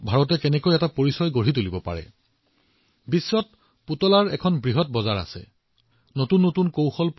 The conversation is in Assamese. আৰু নতুন পৰীক্ষানিৰীক্ষা তেওঁলোকে কৰি আছে আৰু বিশ্বত পুতলাৰ এক বিশাল বজাৰ আছে ৬৭ লাখ কোটি টকাৰ বজাৰ আছে